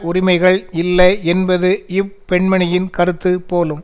உரிமைகள் இல்லை என்பது இப்பெண்மணியின் கருத்து போலும்